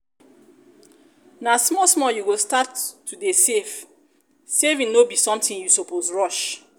na small small you go start to dey save dey save saving no be something you suppose rush